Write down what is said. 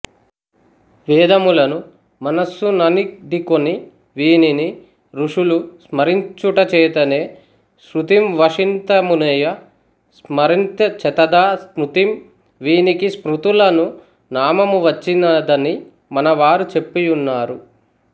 వేదములను మనస్సుననిడికొని వీనిని ఋషులు స్మరించుటచేతనే శ్రుతింవశన్తిమునయ స్మరన్తిచతథా స్మృతిం వీనికి స్మృతులను నామమువచ్చినదని మనవారు చెప్పియున్నారు